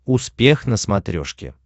успех на смотрешке